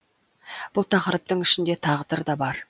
бұл тақырыптың ішінде тағдыр да бар